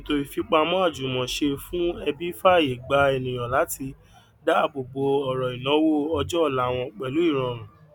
ètò ìfipamọ àjùmọṣe fún ẹbí fààyè gbà ènìyàn láti dáàbò bò ọrọ ìnáwó ọjọ ọla wọn pẹlú ìrọrùn